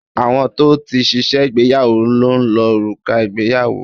Àwọn tó ti ṣe ìgbéyàwó ló ń lo òrùka ìgbéyàwó